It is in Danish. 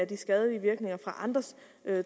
de skadelige virkninger fra andres